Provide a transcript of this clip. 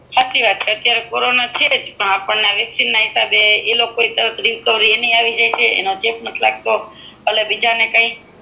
સાચી વાત છે કોરોના છે જ વેક્સિન ના હિસાબે રિકઓવેરી બ જલદી એ જાય છે ચેપ નથી લાગતો એન હિસાબે